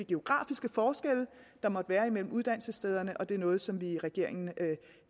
geografiske forskelle der måtte være imellem uddannelsesstederne og det er noget som vi i regeringen